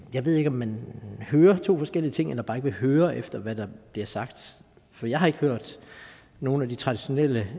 jeg ved ikke om man hører to forskellige ting eller bare ikke vil høre efter hvad der bliver sagt for jeg har ikke hørt nogen af de traditionelle